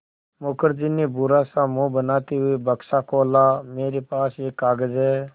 मुखर्जी ने बुरा सा मुँह बनाते हुए बक्सा खोला मेरे पास एक कागज़ है